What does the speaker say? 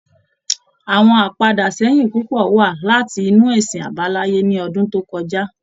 Àwọn apadà sẹ́yìn púpò wá láti inú ẹsìn àbáláyé ní ọdún tó kọjá